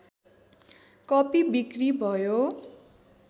कपि बिक्री भयो